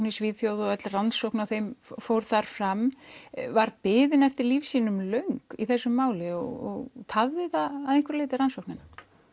í Svíþjóð og öll rannsókn á þeim fór þar fram var biðin eftir lífsýnum löng í þessu máli og tafði það að einhverju leyti rannsóknina